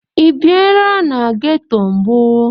Ị biera na geto mbụ?